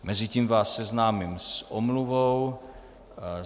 Mezitím vás seznámím s omluvou.